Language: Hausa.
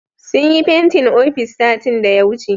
Sun yi fentin ofis satin daya wuce